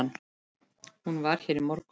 Hún var hér í morgun.